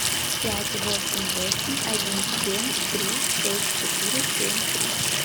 пять восемь восемь один семь три шесть четыре семь три